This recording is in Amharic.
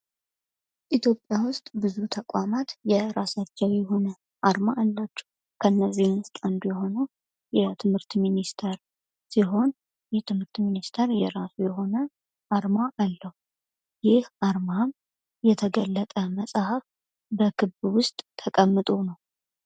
ኢትዮጵያ ውስጥ ብዙ ተቋማት የሆነ አርማ አላቸው። ከነዚህ ውስጥ አንዱ የሆነው የትምህርት ሚኒስቴር ሲሆን የትምህርት ሚኒስቴር የራሱ የሆነ አርማ አለው። ይህ አርማም የተገለጠ መጽሐፍ በክብ ውስጥ ሆኖ ነው።